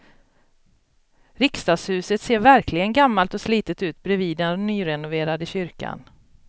Riksdagshuset ser verkligen gammalt och slitet ut bredvid den nyrenoverade kyrkan.